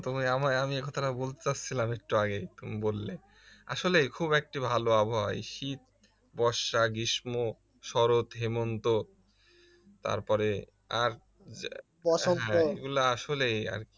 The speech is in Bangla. তুমি আমি আমায় আমি এ কথাটা বলতে চাচ্ছিলাম একটু আগে তুমি বললে আসলেই খুব ভালো একটা আবহাওয়া শীত বর্ষা গ্রীষ্ম শরৎ হেমন্ত তারপরে আর হ্যা এগুলা আসলেই